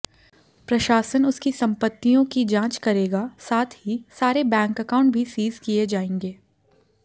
प्रशासन उसकी सम्पत्तियों की जांच करेगा साथ ही सारे बैंक अकाउंट भी सीज किए जाएंगे